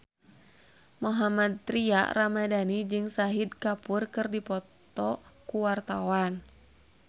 Mohammad Tria Ramadhani jeung Shahid Kapoor keur dipoto ku wartawan